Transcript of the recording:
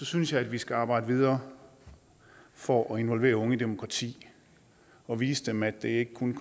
synes jeg at vi skal arbejde videre for at involvere unge i demokrati og vise dem at det ikke kun